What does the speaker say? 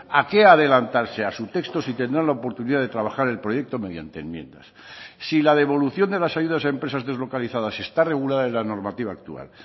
a qué adelantarse a su texto si tendrán la oportunidad de trabajar el proyecto mediante enmiendas si la devolución de las ayudas a empresas deslocalizadas está regulada en la normativa actual